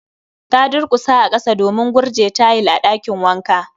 Ta durkusa a kasa domin gurje tayil a ɗakin wanka